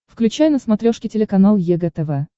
включай на смотрешке телеканал егэ тв